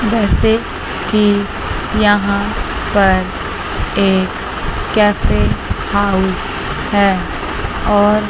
जैसे कि यहां पर एक कैफे हाउस है और--